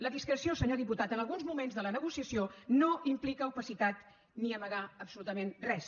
la discreció senyor diputat en alguns moments de la negociació no implica opacitat ni amagar absolutament res